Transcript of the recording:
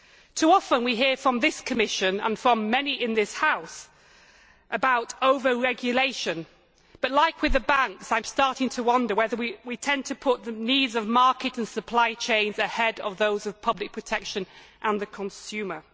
Too often, we hear from this Commission and from many in this House about over regulation, but, as with the banks, I am starting to wonder whether we tend to put the needs of market and supply chains ahead of those of public protection and the consumer.